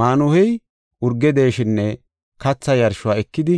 Maanuhey urge deeshinne katha yarshuwa ekidi